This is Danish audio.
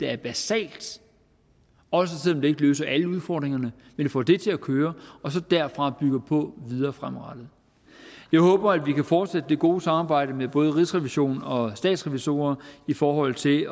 er basalt også selv om det ikke løser alle udfordringerne men får det til at køre og så derfra bygger på videre fremadrettet jeg håber at vi kan fortsætte det gode samarbejde med både rigsrevisionen og statsrevisorerne i forhold til